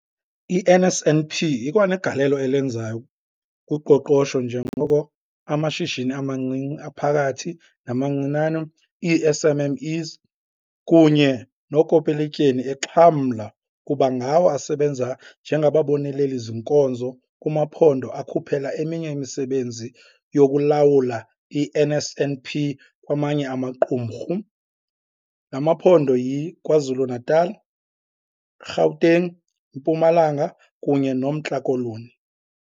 I-NSNP ikwanegalelo elenzayo kuqoqosho njengoko amashishini amancinci, aphakathi, namancinane, ii-SMMEs, kunye nookopolotyeni exhamla kuba ngawo asebenza njengababoneleli-zinkonzo kumaphondo akhuphela eminye imisebenzi yokulawula i-NSNP kwamanye amaqumrhu. La maphondo yiKwaZulu-Natal, iGauteng, iMpumalanga kunye noMntla Koloni.